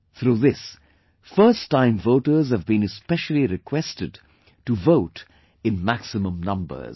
Through this, first time voters have been especially requested to vote in maximum numbers